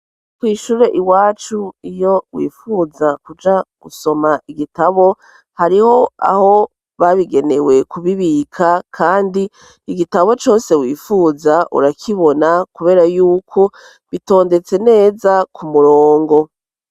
Kw'ishure iwacu, iyo wifuza kuja gusoma igitabo hariho aho babigenewe kubibika, kandi igitabo cose wifuza urakibona kubera y'uko bitondetse neza ku murongo.